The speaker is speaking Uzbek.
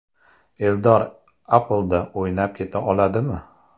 Eldor APLda o‘ynab keta oladimi?